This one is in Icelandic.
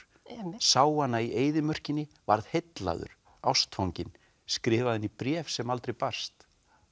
sá hana í eyðimörkinni var heillaður ástfanginn skrifaði henni bréf sem aldrei barst